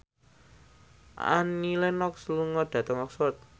Annie Lenox lunga dhateng Oxford